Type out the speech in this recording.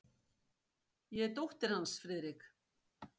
Ég er dóttir hans, Friðrik.